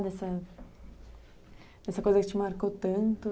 Dessa coisa que te marcou tanto?